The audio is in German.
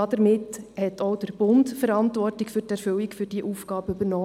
Damit hat auch der Bund Verantwortung für die Erfüllung dieser Aufgabe übernommen.